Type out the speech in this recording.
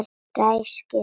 Ræskir sig.